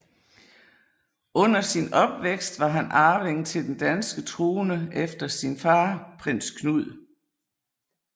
Under sin opvækst var han arving til den danske trone efter sin far Prins Knud